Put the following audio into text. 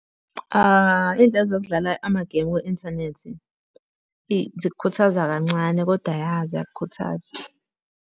Iynhlelo zokudlala amagemu kwi-inthanethi eyi zikukhuthaza kancane, kodwa ya ziyakukhuthaza.